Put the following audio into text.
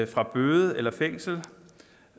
fra bøde eller fængsel